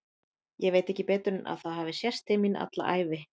Ég veit ekki betur en að það hafi sést til mín alla ævi.